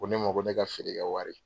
Ko ne ma ko ne ka feere kɛ wari.